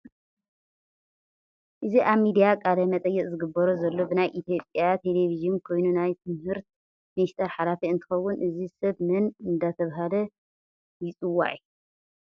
እዚ አብ ምድያ ቃለ መጠየቅ ዝግበሮ ዘሎ ብናይ ኢትዮጵያ ተለቨጂን ኮይኑ ናይ ትምህርት ምንሰተረ ሓላፊ እንትከውን እዚ ሰብ መን እዳተባሀለ ይፅዋዒ?